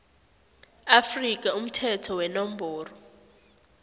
afrika umthetho wenomboro